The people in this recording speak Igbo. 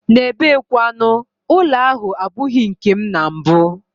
N'ebe kwanu, ụlọ ahụ abụghị nkem na mbụ.